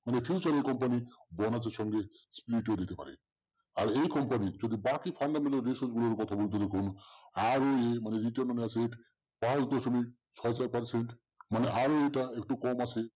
future এর company bonus এর সঙ্গে দিতে পারে। আর এই company যদি বাকি কথা যেরকম